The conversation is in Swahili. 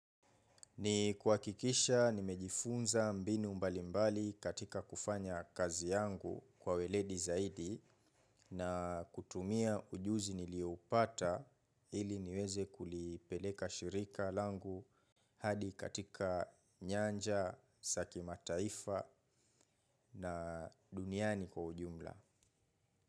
Ni kuhakikisha nimejifunza mbinu mbalimbali katika kufanya kazi yangu kwa ueledi zaidi na kutumia ujuzi nilioupata ili niweze kulipeleka shirika langu hadi katika nyanja, za ki mataifa na duniani kwa ujumla.